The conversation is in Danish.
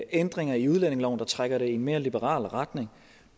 ændringer i udlændingeloven der trækker det i en mere liberal retning